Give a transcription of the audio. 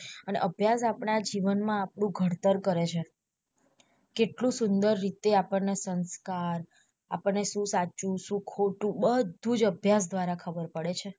અને અભ્યાસ આપડા જીવન માં આપણું ગળતર કરે છે કેટલું સુંદર રીતે આપણને સંસ્કાર, આપણને સુ સાચું સુ ખોટું બધું જ અભ્યાસ દ્વારા ખબર પડે છે.